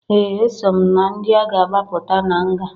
Ee! Eso m na ndị a ga-agbapụta na nga.